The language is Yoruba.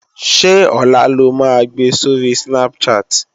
Ṣé ọ̀la lo máa gbe sóri Snapchat?